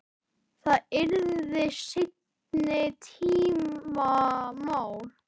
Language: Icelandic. Það yrði seinni tíma mál.